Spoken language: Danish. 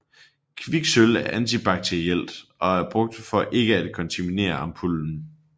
Kviksølv er antibakterielt og er brugt for ikke at kontaminere ampullen